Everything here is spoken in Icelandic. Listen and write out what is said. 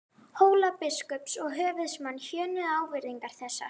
Hólabiskups og höfuðsmanns hjöðnuðu ávirðingar þessar.